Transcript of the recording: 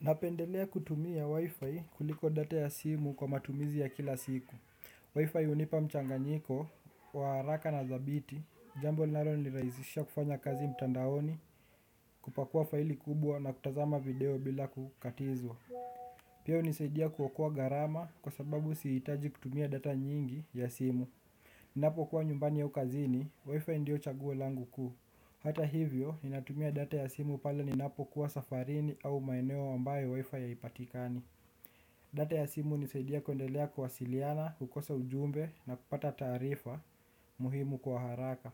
Napendelea kutumia wifi kuliko data ya simu kwa matumizi ya kila siku WIFI hunipa mchanganyiko wa haraka na thabiti, jambo linalo nirahisisha kufanya kazi mtandaoni. Kupakuwa faili kubwa na kutazama video bila kukatizwa. Pia, hunisaidia kuokoa gharama kwa sababu siitaji kutumia data nyingi ya simu. Ninapo kuwa nyumbani ya ukazini, wifi ndio chaguo langu ku hata hivyo, inatumia data ya simu pale ninapo kuwa safarini au maeneo ambaye wifi hai patikani. Data ya simu hunisaidia kundelea kuwasiliana, kukosa ujumbe na kupata tarifa muhimu kwa haraka.